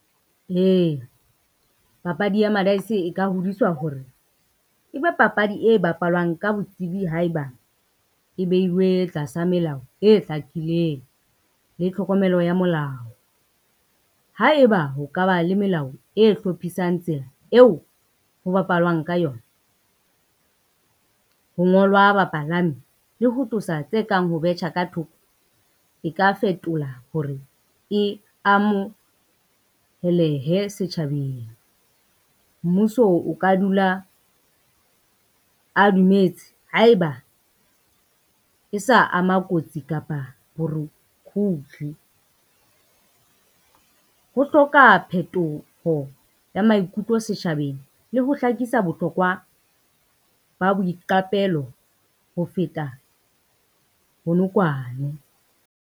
Ee, papadi ya madaese e ka hodiswa hore ebe papadi e bapalwang ka botsebi haeba e behilwe tlasa melao e hlakileng le tlhokomelo ya molao. Haeba ho ka ba le melao e hlophisang tsela eo ho bapalwang ka yona, ho ngolwa bapalami le ho tlosa tse kang ho betjha ka thoko, e ka fetola hore e amohelehe setjhabeng. Mmuso o ka dula a dumetse haeba e sa ama kotsi kapa hloka phetoho ya maikutlo setjhabeng le ho hlakisa bohlokwa ba boiqapelo ho feta bonokwane.